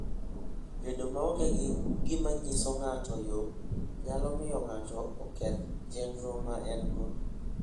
Bedo maonge gi gima nyiso ng'ato yo, nyalo miyo ng'ato oketh chenro ma en-go.